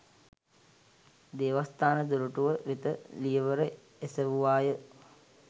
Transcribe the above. දේවස්ථාන දොරටුව වෙත ලියවර එසැවුවාය